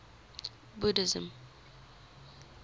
buddhism